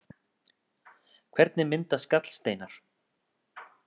Hvernig myndast gallsteinar?